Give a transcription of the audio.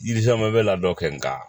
Yiri caman bɛ labɛn kɛ nka